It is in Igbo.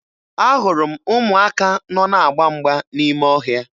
Ahụrụ m ụmụaka nọ na-agba mgba n'ime ọhịa